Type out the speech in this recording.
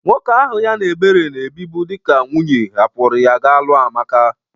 Nwoke ahụ ya na Ebere na-ebibu dịka dị na nwunye hapụrụ ya ga lụa Amaka.